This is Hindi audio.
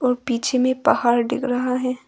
पीछे में पहाड़ दिख रहा है।